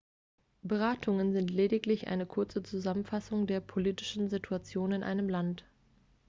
beratungen sind lediglich eine kurze zusammenfassung der politischen situation in einem land